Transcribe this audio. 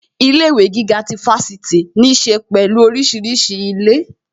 Ilé ìwé gíga ti Fáṣítì ní ṣe pẹ̀lú orísìírísìí ilé